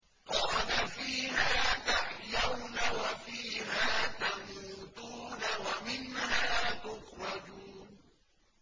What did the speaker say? قَالَ فِيهَا تَحْيَوْنَ وَفِيهَا تَمُوتُونَ وَمِنْهَا تُخْرَجُونَ